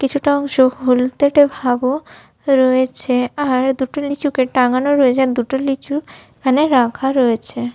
কিছুটা অংশ হলদেটে ভাবও রয়েছে আর দুটো লিচুকে টাঙানো রয়েছে আর দুটো লিচু ওখানে রাখা রয়েছে।